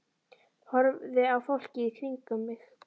Horfði á fólkið í kringum mig.